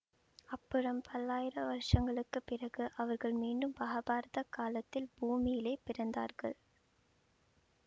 அப்புறம் பல்லாயிரம் வருஷங்களுக்கு பிறகு அவர்கள் மீண்டும் மகாபாரதக் காலத்தில் பூமியிலே பிறந்தார்கள்